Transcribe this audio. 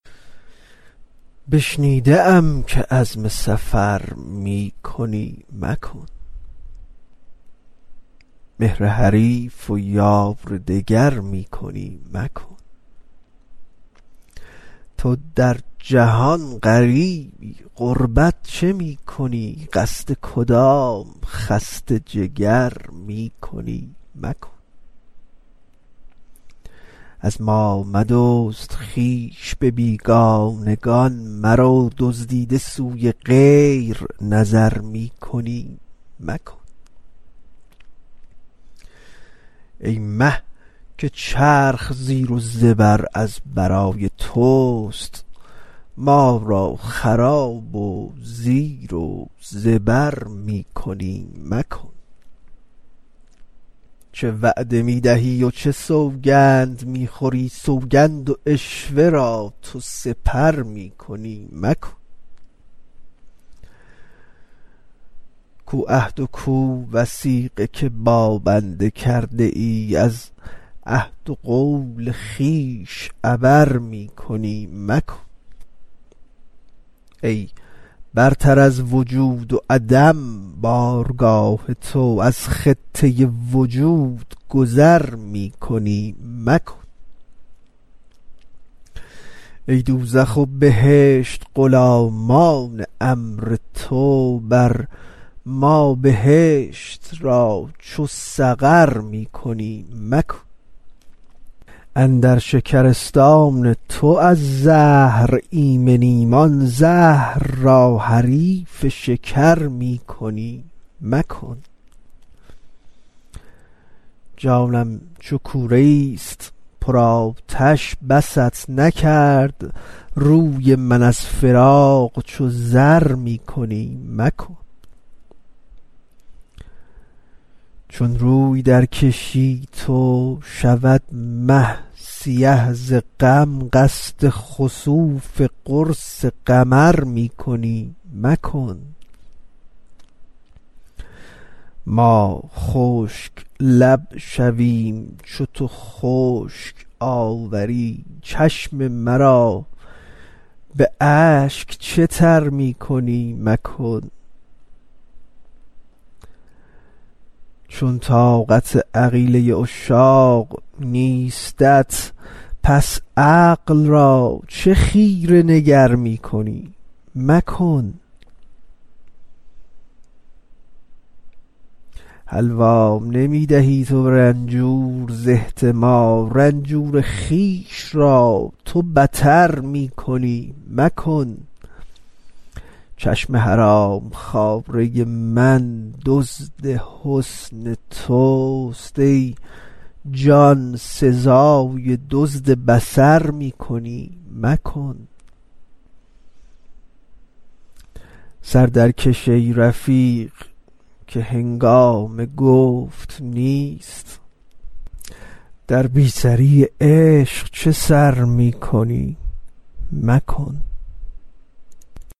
بشنیده ام که عزم سفر می کنی مکن مهر حریف و یار دگر می کنی مکن تو در جهان غریبی غربت چه می کنی قصد کدام خسته جگر می کنی مکن از ما مدزد خویش به بیگانگان مرو دزدیده سوی غیر نظر می کنی مکن ای مه که چرخ زیر و زبر از برای توست ما را خراب و زیر و زبر می کنی مکن چه وعده می دهی و چه سوگند می خوری سوگند و عشوه را تو سپر می کنی مکن کو عهد و کو وثیقه که با بنده کرده ای از عهد و قول خویش عبر می کنی مکن ای برتر از وجود و عدم بارگاه تو از خطه وجود گذر می کنی مکن ای دوزخ و بهشت غلامان امر تو بر ما بهشت را چو سقر می کنی مکن اندر شکرستان تو از زهر ایمنیم آن زهر را حریف شکر می کنی مکن جانم چو کوره ای است پرآتش بست نکرد روی من از فراق چو زر می کنی مکن چون روی درکشی تو شود مه سیه ز غم قصد خسوف قرص قمر می کنی مکن ما خشک لب شویم چو تو خشک آوری چشم مرا به اشک چه تر می کنی مکن چون طاقت عقیله عشاق نیستت پس عقل را چه خیره نگر می کنی مکن حلوا نمی دهی تو به رنجور ز احتما رنجور خویش را تو بتر می کنی مکن چشم حرام خواره من دزد حسن توست ای جان سزای دزد بصر می کنی مکن سر درکش ای رفیق که هنگام گفت نیست در بی سری عشق چه سر می کنی مکن